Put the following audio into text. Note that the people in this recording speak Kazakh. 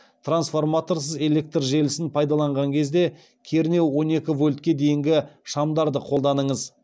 трансформаторсыз электр желісін пайдаланған кезде кернеуі он екі вольтке дейінгі шамдарды қолданыңыз